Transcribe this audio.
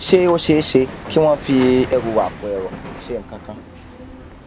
ṣé ó ṣeé ṣe kí wón fi ẹrù àpòẹrọ ṣe nǹkan kan